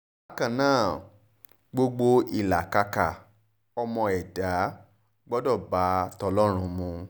bákan náà gbogbo ìlàkàkà ọmọ ẹ̀dá gbọ́dọ̀ bá tọlọ́run mu